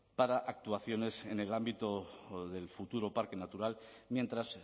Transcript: para actuaciones en el ámbito del futuro parque natural mientras